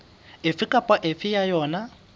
efe kapa efe ya yona